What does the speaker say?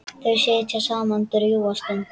Þau sitja saman drjúga stund.